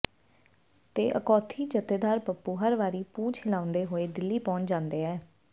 ਤੇ ਅਖੌਤੀ ਜਥੇਦਾਰ ਪੱਪੂ ਹਰ ਵਾਰੀ ਪੂਛ ਹਿਲਾਉਂਦੇ ਹੋਏ ਦਿੱਲੀ ਪਹੁੰਚ ਜਾਂਦੇ ਆ